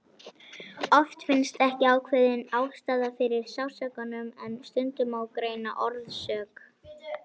Oft finnst ekki ákveðin ástæða fyrir sársaukanum en stundum má greina orsök.